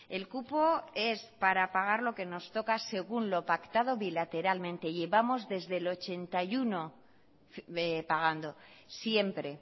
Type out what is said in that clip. el cupo es para pagar lo que nos toca según lo pactado bilateralmente y llevamos desde el mil novecientos ochenta y uno pagando siempre